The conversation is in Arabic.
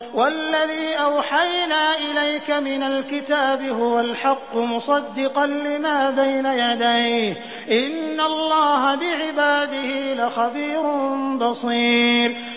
وَالَّذِي أَوْحَيْنَا إِلَيْكَ مِنَ الْكِتَابِ هُوَ الْحَقُّ مُصَدِّقًا لِّمَا بَيْنَ يَدَيْهِ ۗ إِنَّ اللَّهَ بِعِبَادِهِ لَخَبِيرٌ بَصِيرٌ